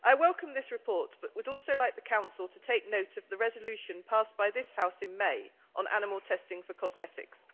Mr President, I welcome this report, but would also like the Council to take note of the resolution passed by this House in May on animal testing for cosmetics.